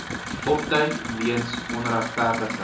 opduik weens onregverdige